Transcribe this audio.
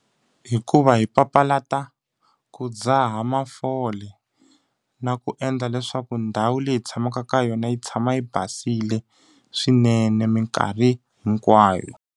Hikuva hi papalata ku dzaha mafole, na ku endla leswaku ndhawu leyi tshamaka ka yona yi tshama yi basile swinene minkarhi hinkwayo.